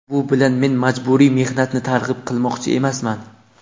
Bu bilan men majburiy mehnatni targ‘ib qilmoqchi emasman.